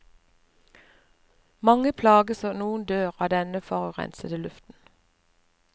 Mange plages og noen dør av denne forurensede luften.